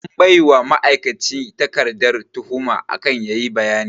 An baiwa ma'aikaci takarda tuhuma akan yayi bayani